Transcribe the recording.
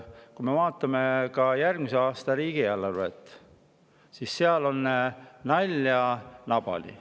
Kui me vaatame järgmise aasta riigieelarvet, siis seal on nalja nabani.